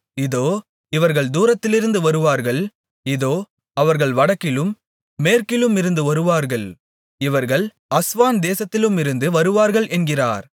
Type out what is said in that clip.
இதோ இவர்கள் தூரத்திலிருந்து வருவார்கள் இதோ அவர்கள் வடக்கிலும் மேற்கிலுமிருந்து வருவார்கள் இவர்கள் அஸ்வான் தேசத்திலுமிருந்து வருவார்கள் என்கிறார்